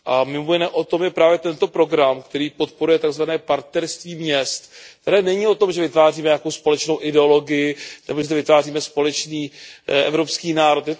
Mimo jiné o tom je právě tento program, který podporuje tzv. partnerství měst, které není o tom, že vytváříme nějakou společnou ideologii nebo že zde vytváříme společný evropský národ.